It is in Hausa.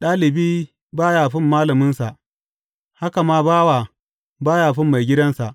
Ɗalibi ba ya fin malaminsa, haka ma, bawa ba ya fin maigidansa.